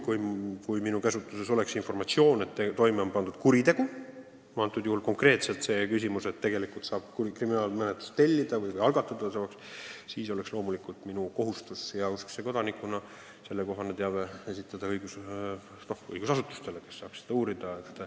Kui minu käsutuses oleks informatsioon, et toime on pandud kuritegu – pean silmas konkreetselt seda küsimust, kas tegelikult saab kriminaalmenetlust tellida ja algatada –, siis oleks loomulikult minu kohustus esitada heauskse kodanikuna sellekohane teave õigusasutustele, kes saavad asja uurida.